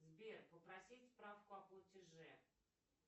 сбер попросить справку о платеже